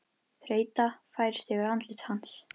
Þreyta færist yfir andlit hans.